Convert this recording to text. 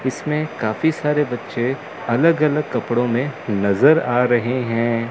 इसमें काफी सारे बच्चे अलग अलग कपड़ों में नजर आ रहे हैं।